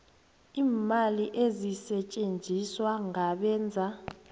iimali ezisetjenziswa ngabenza